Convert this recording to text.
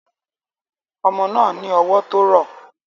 Ọmọ náà ní ọwọ́ tó rọ̀